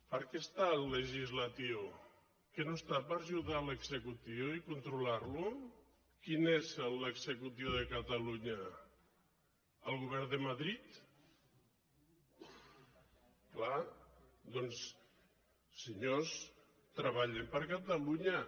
per a què hi és el legislatiu que no hi és per ajudar l’executiu i controlar·lo quin és l’executiu de catalunya el go·vern de madrid clar doncs senyors treballem per catalunya